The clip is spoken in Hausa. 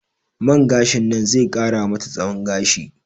Man gashin nan ze ƙara mata tsahon gashi